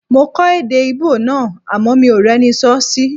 Mo kọ́ èdè Íbò náà àmọ́ mi ò rẹ́ni sọ́ sí